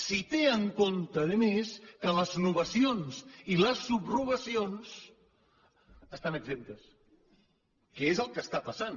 si té en compte a més que les novacions i les subrogacions n’estan exemptes que és el que està passant